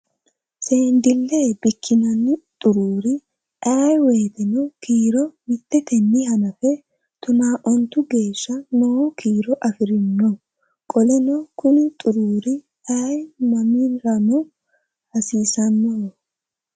Seendille bikkinanni xuruuri ayee woyiiteno kiiro mitteteni hanafe tonaa ontu geeshsha noo kiiro afiranno. Qoleno Kuni xuruuri ayee mannirano hasiisannoho.